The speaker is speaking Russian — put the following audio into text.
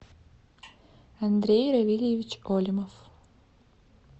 андрей равильевич олимов